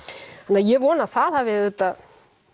ég vona að það hafi auðvitað